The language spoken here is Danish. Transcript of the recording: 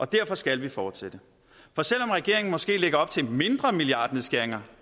derfor skal vi fortsætte for selv om regeringen måske lægger op til en mindre milliardnedskæring